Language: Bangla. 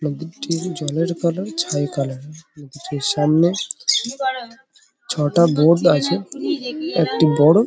নদীটির জলের কালার ছাই কালার -এর। নদীটির সামনে ছটা বোট আছে একটি বড় --